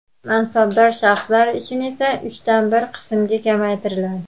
mansabdor shaxslar uchun esa uchdan bir qismga kamaytiriladi.